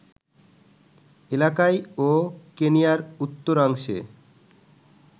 এলাকায় ও কেনিয়ার উত্তরাংশে